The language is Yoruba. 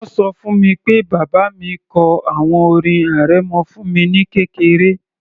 Wọ́n ṣọ fún mi pé bàbá mi kọ àwọn orin arẹmọ fún mi ní kékeré